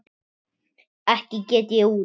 Ekki get ég út